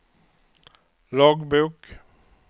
loggbok